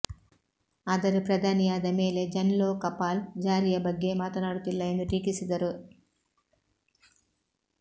ಆದರೆ ಪ್ರಧಾನಿ ಯಾದ ಮೇಲೆ ಜನ್ಲೋಕಪಾಲ್ ಜಾರಿಯ ಬಗ್ಗೆ ಮಾತನಾಡುತ್ತಿಲ್ಲ ಎಂದು ಟೀಕಿಸಿದರು